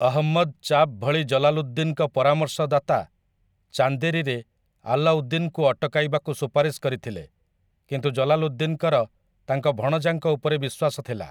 ଅହମ୍ମଦ୍‌ ଚାପ୍ ଭଳି ଜଲାଲୁଦ୍ଦିନ୍‌ଙ୍କ ପରାମର୍ଶଦାତା ଚାନ୍ଦେରୀରେ ଆଲାଉଦ୍ଦିନ୍‌ଙ୍କୁ ଅଟକାଇବାକୁ ସୁପାରିଶ କରିଥିଲେ, କିନ୍ତୁ ଜଲାଲୁଦ୍ଦିନ୍‌ଙ୍କର ତାଙ୍କ ଭଣଜାଙ୍କ ଉପରେ ବିଶ୍ୱାସ ଥିଲା ।